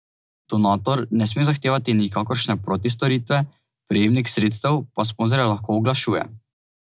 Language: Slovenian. Donator ne sme zahtevati nikakršne protistoritve, prejemnik sredstev pa sponzorja lahko oglašuje.